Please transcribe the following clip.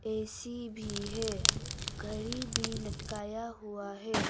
AC भी है घड़ी भी लटकाया हुआ है।